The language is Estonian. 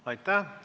Aitäh!